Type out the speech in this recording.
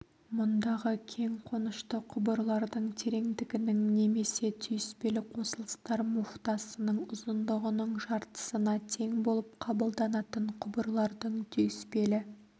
мұндағы кең қонышты құбырлардың тереңдігінің немесе түйіспелі қосылыстар муфтасының ұзындығының жартысына тең болып қабылданатын құбырлардың түйіспелі